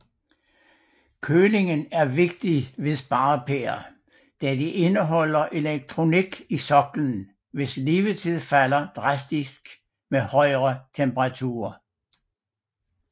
Kølingen er vigtig ved sparepærer da de indeholder elektronik i soklen hvis levetid falder drastisk med højere temperaturer